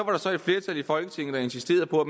var så et flertal i folketinget der insisterede på at